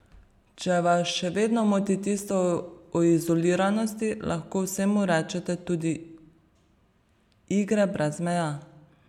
Če vas še vedno moti tisto o izoliranosti, lahko vsemu rečete tudi igre brez meja.